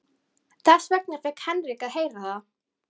Horfði á bílana sem æddu framhjá.